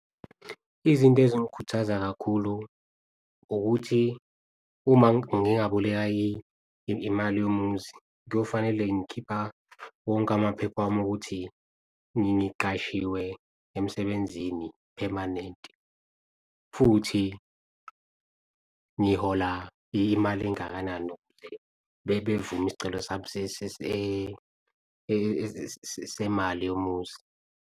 Izinto ezingikhuthaza kakhulu ukuthi uma ngingaboleka imali yomuzi kuyofanele ngikhipha wonke amaphepha wami ukuthi ngiqashiwe emsebenzini phemanenti futhi ngihola imali engakanani. Ukuze bevume isicelo sami semali yomuzi.